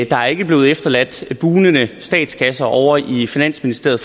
der ikke er blevet efterladt en bugnende statskasse ovre i finansministeriet